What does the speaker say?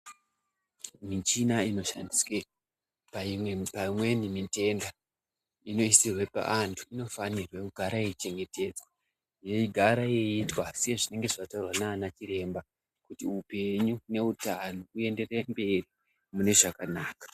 Michina ino shandiswe pa imweni mitenda ino isirwe pa antu ino fanirwe kugara yei chengetedzwa yei gara yeitwa se zvinenge zvataurwa nana chiremba kuti upenyu ne utano underera mberi mune zvakanaka.